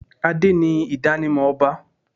Adé ni idanimọ ọba.